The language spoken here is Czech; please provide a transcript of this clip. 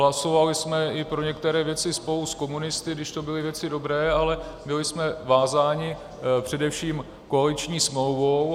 Hlasovali jsme i pro některé věci spolu s komunisty, když to byly věci dobré, ale byli jsme vázáni především koaliční smlouvou.